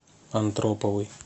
антроповой